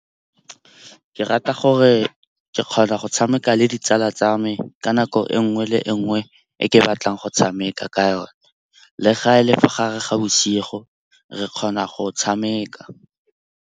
Ke rata gore ke kgona go tshameka le ditsala tsa me ka nako e nngwe le nngwe e ke batlang go tshameka ka yone. Le ga e le fa gare ga bosigo re kgona go tshameka.